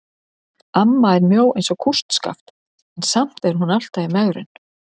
Amma er mjó eins og kústskaft en samt er hún alltaf í megrun.